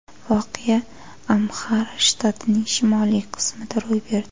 Voqea Amxara shtatining shimoliy qismida ro‘y berdi.